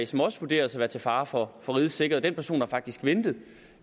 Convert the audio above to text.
som også vurderes at være til fare for for rigets sikkerhed den person har faktisk ventet